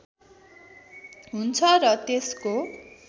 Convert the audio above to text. हुन्छ र त्यसको